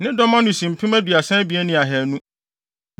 Ne dɔm ano si mpem aduasa abien ne ahannu (32,200).